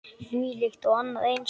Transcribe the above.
Þvílíkt og annað eins.